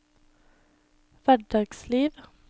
hverdagsliv